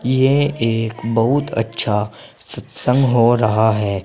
यह एक बहुत अच्छा सत्संग हो रहा है।